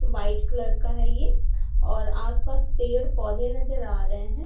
White colour का है ये और आस पास पेड़ पौधे नजर आ रहे है।